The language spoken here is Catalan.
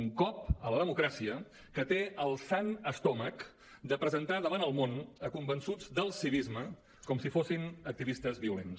un cop a la democràcia que té el sant estómac de presentar davant el món convençuts del civisme com si fossin activistes violents